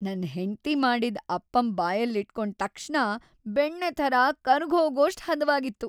ನನ್ ಹೆಂಡ್ತಿ ಮಾಡಿದ್ ಅಪ್ಪಮ್ ಬಾಯಲ್ಲಿಟ್ಕೊಂಡ್ ತಕ್ಷಣ ಬೆಣ್ಣೆ ಥರ ಕರ್ಗ್‌ಹೋಗೋಷ್ಟ್‌ ಹದವಾಗಿತ್ತು.